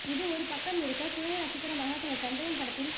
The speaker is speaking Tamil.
இது ஒரு பக்கம் இருக்க குழந்தை நட்சத்திரமாக தனது தந்தையின் படத்தில்